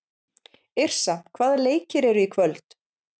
Yrsa, hvaða leikir eru í kvöld?